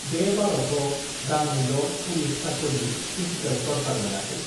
बे बाराव थ दाननैल पुलिस कास्टडि फिसिकेल तरसार मोनाखै